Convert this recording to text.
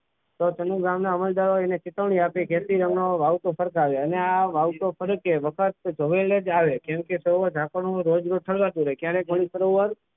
તો તેના ગામમાં હવાલદારોએ અને ચેતવણી આપી ખેતી રંગનો ભાવ તો સરખા જ હોય અને આ ભાવ તો કડક છે કેમકે હવે જાસ્કા નો રોજ રોજ ક્યારે ખાલી કરવાનું ક્યારે ખાલી કરવાનું જરાસાઈમાં તો